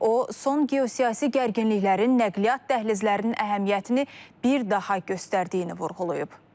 O, son geosiyasi gərginliklərin nəqliyyat dəhlizlərinin əhəmiyyətini bir daha göstərdiyini vurğulayıb.